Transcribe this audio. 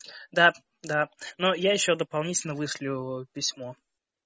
да да но я ещё дополнительно вышлю письмо